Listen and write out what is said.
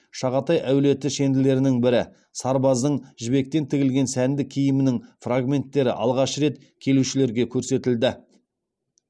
шағатай әулеті шенділерінің бірі сарбаздың жібектен тігілген сәнді киімінің фрагменттері алғаш рет келушілерге көрсетілді